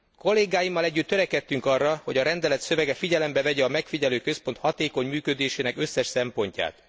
Kollégáimmal együtt törekedtünk arra, hogy a rendelet szövege figyelembe vegye a megfigyelőközpont hatékony működésének összes szempontját.